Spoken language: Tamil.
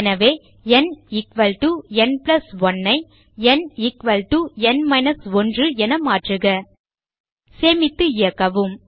எனவே nn 1 ஐ nn 1 என மாற்றுக சேமித்து இயக்கவும்